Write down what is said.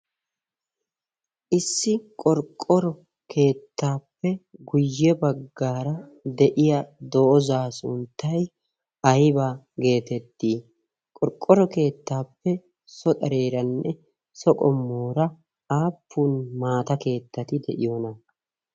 Issi qorqqoro keettaappe guyye baggaara de'iya doozaa sunttay ayba geetettii? Qorqqoro keettaappe sokareeranne soqomoora aappun maata keettati de'iyoona?